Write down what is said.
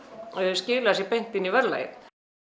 skila sér beint inn í verðlagið